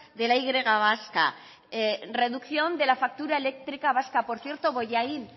de la y vasca reducción de la factura eléctrica vasca por cierto bollain